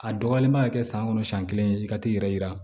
A dɔgɔyalen man ka kɛ san kɔnɔ siɲɛ kelen i ka t'i yɛrɛ yira